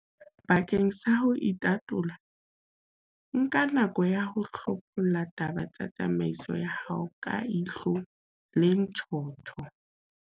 Bakeng sa ho itatola, nka nako ya ho hlopholla taba tsa tsamaiso ya hao ka ihlo le ntjhotjho.